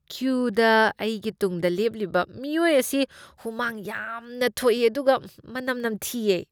ꯀ꯭ꯌꯨꯗ ꯑꯩꯒꯤ ꯇꯨꯡꯗ ꯂꯦꯞꯂꯤꯕ ꯃꯤꯑꯣꯏ ꯑꯁꯤ ꯍꯨꯃꯥꯡ ꯌꯥꯝꯅ ꯊꯣꯛꯏ ꯑꯗꯨꯒ ꯃꯅꯝ ꯅꯝꯊꯤꯌꯦ ꯫